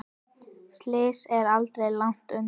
Slysið er aldrei langt undan.